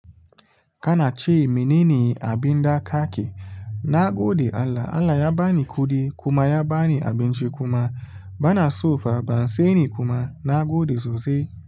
Kana ce, "Menene abin da ka ke?" Na gode Allah. Allah ya ba ni kuɗi kuma ya ba ni abinci kuma bana so fa ban saini kuma na gode sosai.